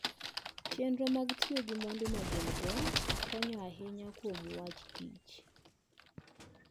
Chenro mag tiyo gi mwandu ma gin-go konyo ahinya kuom wach kich.